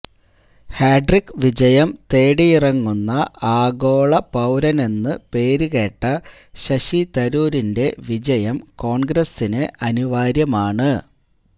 hat trick വിജയം തേടിയിറങ്ങുന്ന ആഗോള പൌരനെന്നു പേരുകേട്ട ശശി തരൂരിന്റെ വിജയം കോൺഗ്രസ്സിന് അനിവാര്യമാണ്